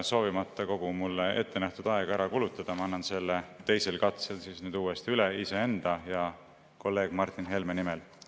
Soovimata kogu mulle ettenähtud aega ära kulutada, annan selle teisel katsel uuesti üle, iseenda ja kolleeg Martin Helme nimel.